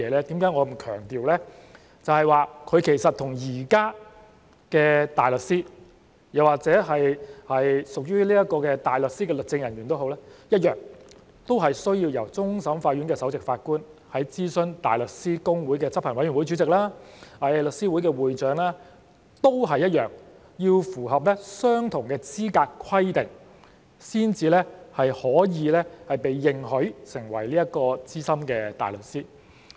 就是說這些人士其實與現在的大律師，又或屬於大律師的律政人員一樣，同樣需要由終審法院首席法官在諮詢香港大律師公會的執行委員會主席及香港律師會會長後，並要符合相同的資格規定，才可被認許成為資深大律師。